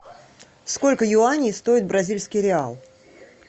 сколько юаней стоит бразильский реал